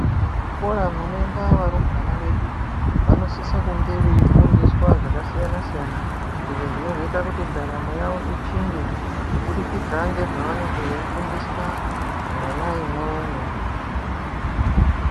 Muzvikora munoende varumbwana vedu vanosisa kunge veyi fundiswa zvakasiyana siyana izvo zvinozoita kuti ndaramo yavo ichinje kubudikidzwa nezvavanenge veyifundiswa muzvikora mwona imwomwo .